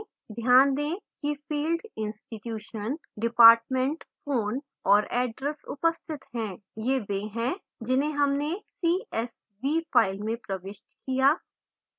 ध्यान दें कि fields institution department phone और address उपस्थित है ये वे हैं जिन्हें हमने csv file में प्रविष्ट किया